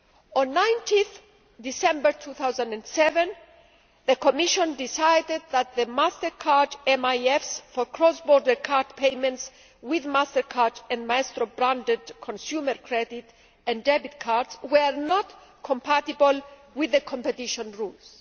On 19 December 2007, the Commission decided that the MasterCard MIFs for cross border card payments with MasterCard and Maestro branded consumer credit and debit cards were not compatible with the competition rules.